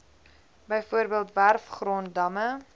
bv werfgrond damme